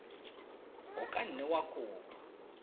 o ka nne wa kopa